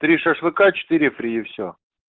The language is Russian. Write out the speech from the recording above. три шашлыка четыре фри и всё